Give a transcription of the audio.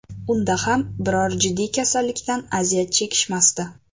Unda ham biror jiddiy kasallikdan aziyat chekishmasdi.